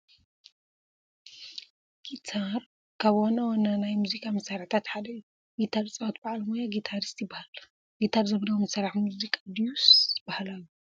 ጊታር ካብ ዋና ዋና ናይ ሙዚቃ መሳርሕታት ሓደ እዩ፡፡ ጊታር ዝፃወት በዓል ሞያ ጊታሪስት ይበሃል፡፡ ጊታር ዘመናዊ መሳርሒ ሙዚቃ ድዩስ ባህላዊ?